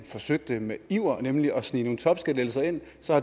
forsøgte med iver nemlig at snige nogle topskattelettelser ind